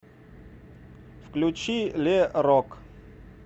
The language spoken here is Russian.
включи ле рок